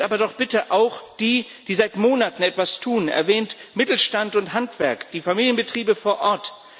Erwähnt aber doch bitte auch die, die seit Monaten etwas tun, erwähnt Mittelstand und Handwerk, die Familienbetriebe vor Ort.